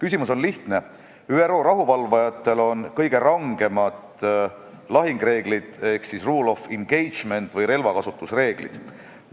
Asi on lihtne: ÜRO rahuvalvajatel on kõige rangemad lahingureeglid ehk siis rules of engagement ehk relvakasutusreeglid.